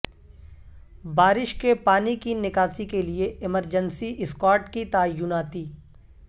بارش کے پانی کی نکاسی کیلئے ایمرجنسی اسکواڈ کی تعیناتی